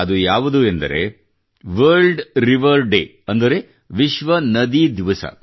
ಅದು ಯಾವುದು ಅಂದರೆ ವಲ್ರ್ಡ್ ರಿವರ್ ಡೇ ಅಂದರೆ ವಿಶ್ವ ನದಿ ದಿವಸ